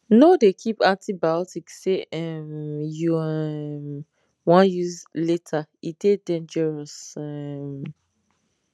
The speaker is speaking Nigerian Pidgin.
no dey keep antibiotics say um you um wan use later e dey dangerous um